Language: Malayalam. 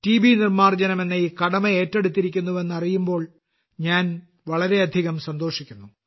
നിർമ്മാർജ്ജനം എന്ന ഈ കടമ എറ്റെടുത്തിരിക്കുന്നുവെന്നു അറിയുമ്പോൾ ഞാൻ വളരെ അധികം സന്തോഷിക്കുന്നു